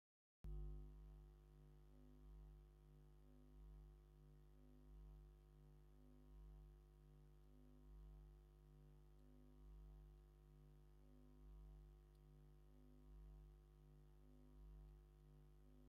ኣብ መሬት ናይ ቀደም ሰባት ንመጋየፂ ካብ ዝጥቀምሉ ዝነበሩ ካብ ብሩርን ነሃስን ዝስርሑ ናይ ክሳድ መጋየፂ እዮም። እቶም ብፃዕዳ ምስ ሃሮም ዘለዉ እንታይ ይበሃል ?